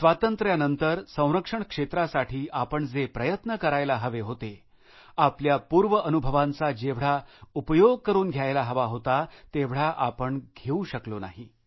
स्वातंत्र्यानंतर संरक्षण क्षेत्रासाठी आपण जे प्रयत्न करायला हवे होते आपल्या पूर्वअनुभवांचा जेवढा उपयोग करुन घ्यायला हवा होतातेवढा आपण घेऊ शकलो नाही